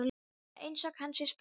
Það er einsog hann sé spenntur.